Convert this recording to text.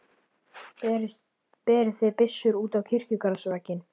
Berið þið byssur út á kirkjugarðsvegginn.